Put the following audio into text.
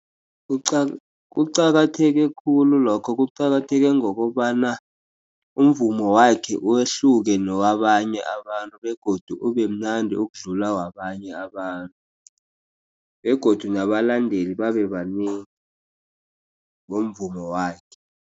Kuqakatheke khulu lokho kuqakatheke ngokobana umvumo wakhe uwehluke newabanye abantu begodu ubemnandi ukudlula wabanye abantu begodu nabalandeli babe banengi womvumo wakhe.